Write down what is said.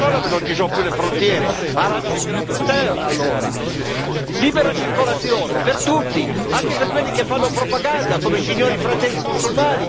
Libera circolazione per tutti, anche per quelli che fanno propaganda, come i signori Fratelli musulmani che si infiltrano addirittura nei governi e fanno i consulenti dei nostri governi.